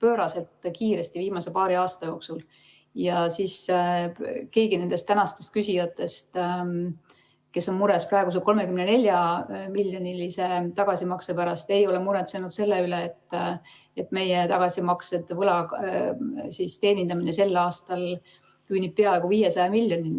viimase paari aasta jooksul pööraselt kiiresti, siis keegi nendest tänastest küsijatest, kes on mures praeguse 34-miljonilise tagasimakse pärast, ei ole muretsenud selle pärast, et meie tagasimaksed ja võla teenindamine sel aastal küündivad peaaegu 500 miljonini.